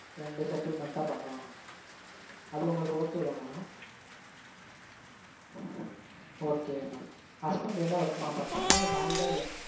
ரெண்டு settlement ஆ பண்ணுவாங்க mam. அது உங்களுக்கு okay தான mam okay mam husband என்ன work mam பண்றாங்க இல்ல married ஆ இல்ல